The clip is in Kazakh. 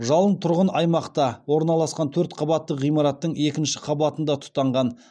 жалын тұрғын аймақта орналасқан төрт қабатты ғимараттың екінші қабатында тұтанған